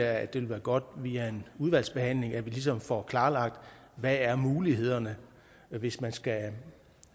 at det ville være godt via en udvalgsbehandling at vi ligesom får klarlagt hvad mulighederne er hvis man skal